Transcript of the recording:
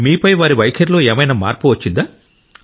మీపై వారి వైఖరిలో ఏమైనా మార్పు వచ్చిందా